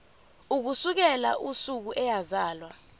ukusukela usuku eyazalwa